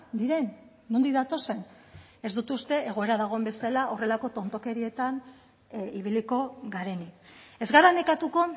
diren nondik datozen ez dut uste egoera dagoen bezala horrelako tontakerietan ibiliko garenik ez gara nekatuko